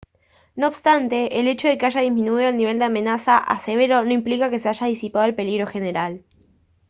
no obstante el hecho de que haya disminuido el nivel de amenaza a severo no implica que se haya disipado el peligro general»